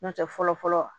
N'o tɛ fɔlɔ fɔlɔ